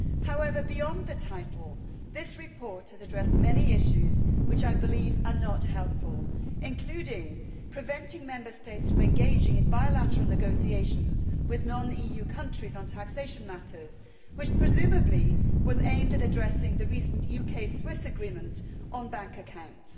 However, beyond the title, this report has addressed many issues which I believe are not helpful, including preventing Member States from engaging in bilateral negotiations with non EU countries on taxation matters, which presumably was aimed at addressing the recent UK Swiss agreement on bank accounts.